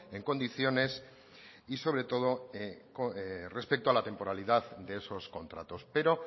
en condiciones y sobre todo respecto a la temporalidad de esos contratos pero